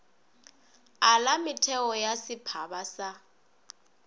ala metheo ya setphaba sa